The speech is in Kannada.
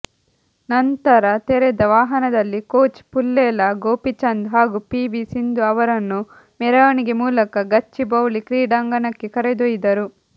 ನಂತರ ತೆರೆದ ವಾಹನದಲ್ಲಿ ಕೋಚ್ ಪುಲ್ಲೇಲ ಗೋಪಿಚಂದ್ ಹಾಗೂ ಪಿವಿ ಸಿಂಧು ಅವರನ್ನು ಮೆರವಣಿಗೆ ಮೂಲಕ ಗಚ್ಚಿಬೌಳಿ ಕ್ರೀಡಾಂಗಣಕ್ಕೆ ಕರೆದ್ಯೊಯ್ದರು